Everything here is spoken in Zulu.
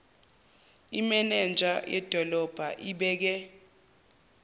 imenenja yedolobha ibeke